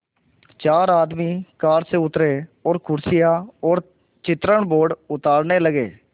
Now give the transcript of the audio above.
चार आदमी कार से उतरे और कुर्सियाँ और चित्रण बोर्ड उतारने लगे